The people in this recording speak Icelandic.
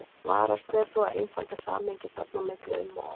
Varast ber þó að einfalda samhengið þarna á milli um of.